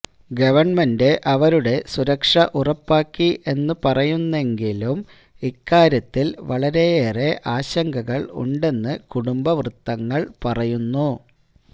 government അവരുടെ സുരക്ഷ ഉറപ്പാക്കി എന്ന് പറയുന്നെങ്കിലും ഇക്കാര്യത്തില് വളരയേറെ ആശങ്കകള് ഉണ്ടെന്നു കുടുംബ വൃത്തങ്ങള് പറയുന്നു